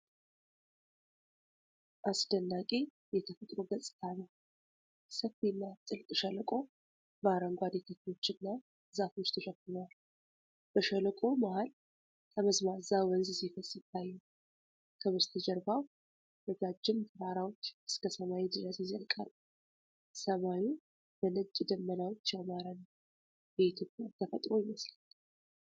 አስደናቂ የተፈጥሮ ገጽታ ነው። ሰፊና ጥልቅ ሸለቆ በአረንጓዴ ተክሎችና ዛፎች ተሸፍኗል። በሸለቆው መሃል ጠመዝማዛ ወንዝ ሲፈስ ይታያል። ከበስተጀርባው ረጃጅም ተራራዎች እስከ ሰማይ ድረስ ይዘልቃሉ። ሰማዩ በነጭ ደመናዎች ያማረ ነው። የኢትዮጵያን ተፈጥሮ ይመስላል።